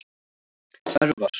Örvar